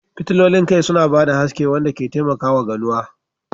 Fitilolin kai suna ba da haske wanda ke taimakawa ganuwa.